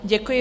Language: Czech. Děkuji.